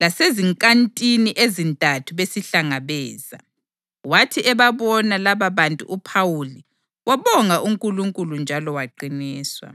laseziNkantini eziNtathu besihlangabeza. Wathi ebabona lababantu uPhawuli wabonga uNkulunkulu njalo waqiniswa.